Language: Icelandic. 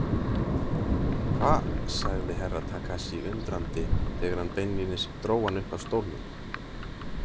Hva, sagði Herra Takashi undrandi þegar hann beinlínis dró hann upp af stólnum.